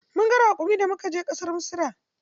Mun ga raƙumi da muka je ƙasar Misira.